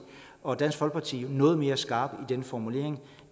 og dansk folkeparti har lavet noget mere skarp sin formulering